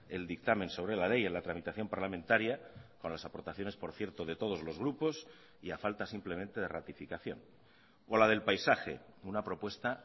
el dictamen sobre la ley en la tramitación parlamentaria con las aportaciones por cierto de todos los grupos y a falta simplemente de ratificación o la del paisaje una propuesta